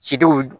Cidenw